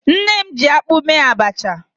Nne m jiakpụ mee abacha.